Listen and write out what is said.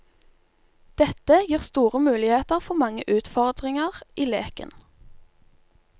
Dette gir store muligheter for mange utfordringer i leken.